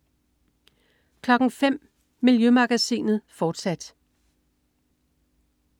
05.00 Miljømagasinet, fortsat